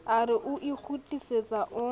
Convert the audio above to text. a re o ikgutlisetsa o